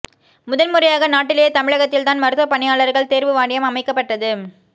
முதன்முறையாக நாட்டிலேயே தமிழகத்தில் தான் மருத்துவ பணியாளர்கள் தேர்வு வாரியம் அமைக்கப்பட்டது